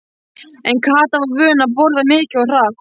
En Kata var vön að borða mikið og hratt.